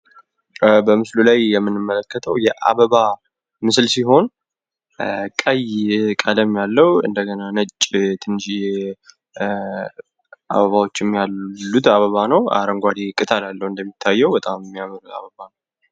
በምስሉ ላይ የምንመለከተው የአበባ ምስል ሲሆን ቀይ ቀለም ያለው እንደገና ደግሞ ነጭ ትንሽዬ አበቦች ያሉት አበባ ነው። አረንጓዴ ቅጠል አለው እንደሚታየው የሚያምር አበባ ነዉ።